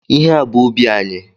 Ihe a bụ ubi anyị.